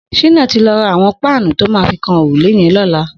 Shina ti lọ rà awọn páànù tó mà fi kán órúlé yèn lọlá